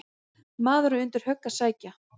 Maður á undir högg að sækja.